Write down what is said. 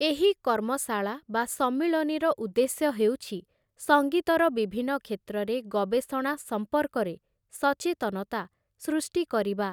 ଏହି କର୍ମଶାଳା ବା ସମ୍ମିଳନୀର ଉଦ୍ଦେଶ୍ୟ ହେଉଛି ସଙ୍ଗୀତର ବିଭିନ୍ନ କ୍ଷେତ୍ରରେ ଗବେଷଣା ସମ୍ପର୍କରେ ସଚେତନତା ସୃଷ୍ଟି କରିବା ।